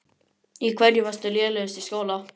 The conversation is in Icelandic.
Í hverju varstu lélegust í skóla?